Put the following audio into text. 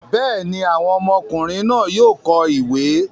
bẹ́ẹ̀ni, àwọn ọmọkùnrin náà yóò kọ́ ìwẹ̀.